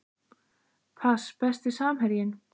Pass Besti samherjinn?